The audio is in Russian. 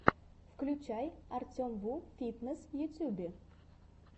включай артемвуфитнесс в ютюбе